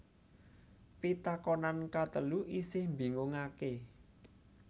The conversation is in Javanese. Pitakonan katelu isih mbingungaké